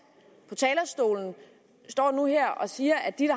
på talerstolen står nu her og siger at de